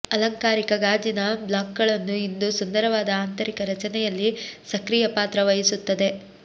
ಅಲಂಕಾರಿಕ ಗಾಜಿನ ಬ್ಲಾಕ್ಗಳನ್ನು ಇಂದು ಸುಂದರವಾದ ಆಂತರಿಕ ರಚನೆಯಲ್ಲಿ ಸಕ್ರಿಯ ಪಾತ್ರ ವಹಿಸುತ್ತದೆ